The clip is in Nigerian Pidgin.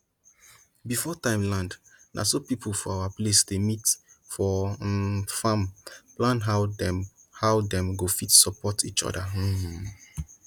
before time land na so people for our place dey meet for um farm plan how dem how dem go fit support each other um